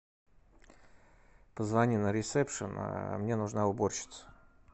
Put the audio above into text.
позвони на ресепшн мне нужна уборщица